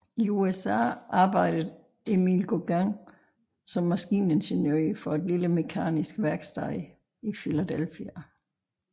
I USA arbejdede Emil Gauguin som maskiningeniør for et lille mekanisk værksted i Philadelphia